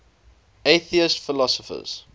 atheist philosophers